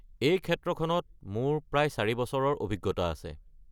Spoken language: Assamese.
এই ক্ষেত্ৰখনত মোৰ প্ৰায় ৪ বছৰৰ অভিজ্ঞতা আছে।